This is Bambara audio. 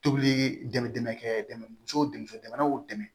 Tobili dɛmɛndɛnkɛ dɛmɛso dɛmɛ o dɛmɛ